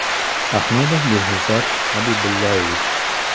Ahmedov Behzod Xabibullayevich.